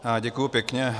Děkuji pěkně.